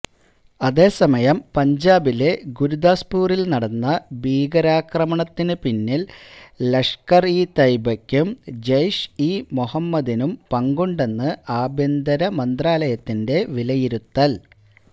അതേസമയം പഞ്ചാബിലെ ഗുരുദാസ്പൂരിൽ നടന്ന ഭീകരാക്രമണത്തിനു പിന്നിൽ ലഷ്കർ ഇ തയ്ബയ്ക്കും ജെയ്ഷ് ഇ മുഹമ്മദിനും പങ്കുണ്ടെന്ന് ആഭ്യന്തരമന്ത്രാലയത്തിന്റെ വിലയിരുത്തൽ